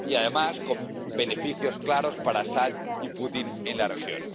Y, además, con beneficios claros para Al Asad y Putin en la región.